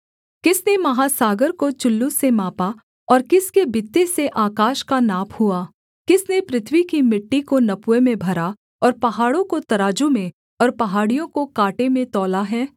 किसने महासागर को चुल्लू से मापा और किसके बित्ते से आकाश का नाप हुआ किसने पृथ्वी की मिट्टी को नपुए में भरा और पहाड़ों को तराजू में और पहाड़ियों को काँटे में तौला है